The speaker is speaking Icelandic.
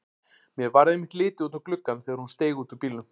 Mér varð einmitt litið út um gluggann þegar hún steig út úr bílnum.